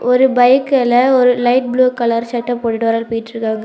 ஒரு பைக்குல ஒரு லைட் ப்ளூ கலர் சட்ட போட்டுடு ஒரு ஆள் போயிட்டிருகாங்க.